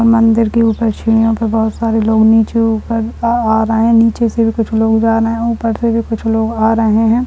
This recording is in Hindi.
मंदिर के ऊपर सीढ़ियों पे बहुत सारे लोग नीचे ऊपर आ आ रहे हैं नीचे से भी कुछ लोग जा रहे है ऊपर से भी कुछ लोग आ रहे है।